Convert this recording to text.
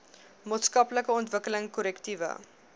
maatskaplike ontwikkeling korrektiewe